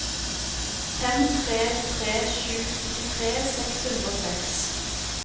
fem tre tre sju syttitre seks hundre og seks